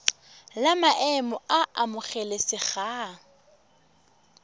la maemo a a amogelesegang